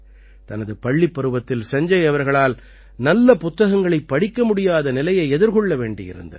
தனது பள்ளிப் பருவத்தில் சஞ்ஜய் அவர்களால் நல்ல புத்தகங்களைப் படிக்க முடியாத நிலையை எதிர்கொள்ள வேண்டியிருந்தது